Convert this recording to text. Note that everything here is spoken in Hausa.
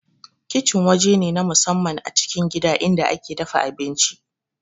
Kicin waje ne na musamman a cikin gida inda ake dafa abinci